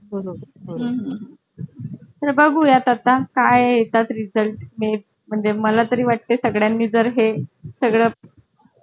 बरोबर हो हम्म तर बघूया ता का येतात result म्हणजे मला तरी वाटते सगळ्यां नी जर हे सगळं